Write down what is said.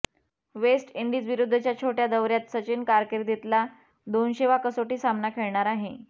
waste इंडीजविरुद्धच्या छोट्या दौर्यात सचिन कारकिर्दीतला दोनशेवा कसोटी सामना खेळणार आहे